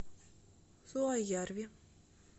суоярви